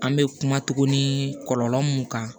An bɛ kuma tuguni kɔlɔlɔ mun kan